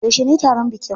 Yaushe ne taron bikin?